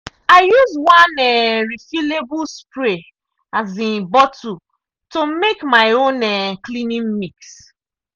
i use one um refillable spray um bottle to make my own um cleaning mix.